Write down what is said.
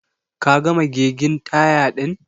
Ka gama gegin taya din?